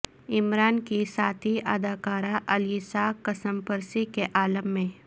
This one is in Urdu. عمران کی ساتھی اداکارہ الیسا کسمپرسی کے عالم میں